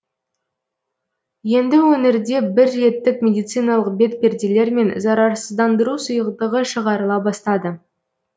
енді өңірде бірреттік медициналық бетперделер мен зарарсыздандыру сұйықтығы шығарыла бастады